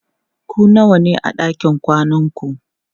ku nawa ne a ɗakin kwanan ku?